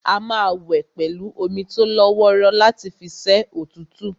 A máa wẹ̀ pẹ̀lú omi tólọ́wọ́rọ́ láti fi ṣẹ́ òtútù